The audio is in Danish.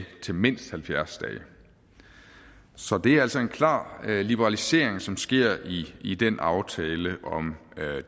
til mindst halvfjerds dage så det er altså en klar liberalisering som sker i i den aftale om